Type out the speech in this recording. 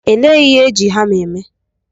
Elee ihe eji hama eme?